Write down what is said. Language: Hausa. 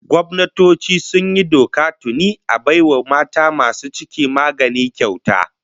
Gwamnatoci sun yi doka tuni a bai wa mata masu ciki magani kyauta